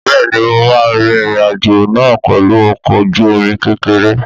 Bẹ́ẹ̀ni mo máa rìn ìrìn àjò náà pẹ̀lú ọkọ̀ ojú omi kékeré